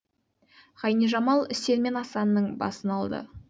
ғайнижамал үсен мен асанның басын алды